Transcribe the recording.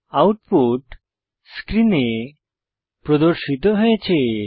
output স্ক্রিনে প্রদর্শিত হয়েছে